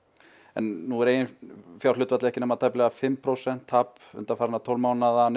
en nú er eiginfjárhlutfallið ekki nema tæplega fimm prósent og tap undanfarna tólf mánuði eða